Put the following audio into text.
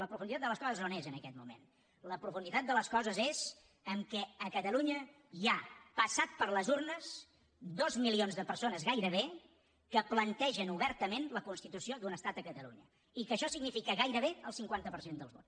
la profunditat de les coses on és en aquest moment la profunditat de les coses és que a catalunya hi ha passat per les urnes dos milions de persones gairebé que plantegen obertament la constitució d’un estat a catalunya i que això significa gairebé el cinquanta per cent dels vots